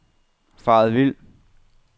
faret vild